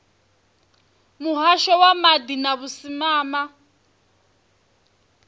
muhasho wa maḓi na vhusimama